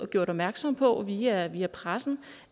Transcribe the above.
gjort opmærksom på via via pressen